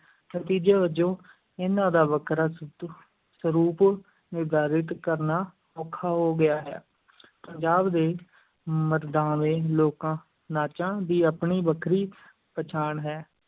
ਨਤੀਜੇ ਵਜੋਂ, ਇਹਨਾਂ ਦਾ ਵੱਖਰਾ ਸਰੂਪ ਨਿਰਧਾਰਿਤ ਕਰਨਾ ਔਖਾ ਹੋ ਗਿਆ ਹੈ, ਪੰਜਾਬ ਦੇ ਮਰਦਾਵੇਂ ਲੋਕਾਂ-ਨਾਚਾਂ ਦੀ ਆਪਣੀ ਵੱਖਰੀ ਪਛਾਣ ਹੈ।